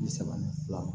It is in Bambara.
Bi saba ni fila